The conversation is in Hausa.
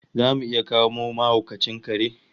Zamu iya kamo mahaukacin kare?